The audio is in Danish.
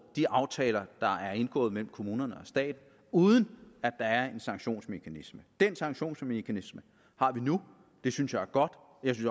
de aftaler der er indgået mellem kommunerne og staten uden at der er en sanktionsmekanisme den sanktionsmekanisme har vi nu det synes jeg er godt